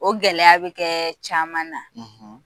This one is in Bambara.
O gɛlɛya bɛ kɛ caman na,